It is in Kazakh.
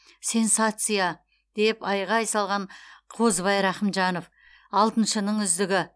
сенсация деп айқай салған қозыбай рақымжанов алтыншының үздігі